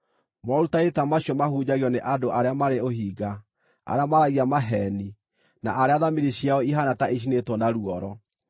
Morutani ta macio mahunjagio nĩ andũ arĩa marĩ ũhinga, arĩa maaragia maheeni, na arĩa thamiri ciao ihaana ta icinĩtwo na ruoro.